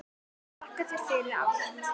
Þakka þér fyrir allt.